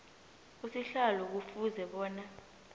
usihlalo kufuze bona